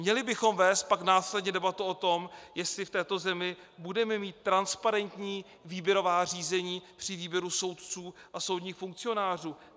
Měli bychom vést pak následně debatu o tom, jestli v této zemi budeme mít transparentní výběrová řízení při výběru soudců a soudních funkcionářů.